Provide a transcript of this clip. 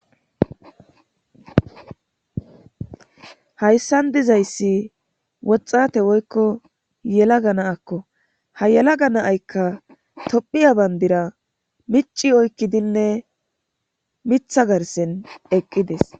hayssan dizayssi woxxate woykko yela gana akko ha yela ga naaykka tophiya bandira mici oykkidinne mitha garsen eqqides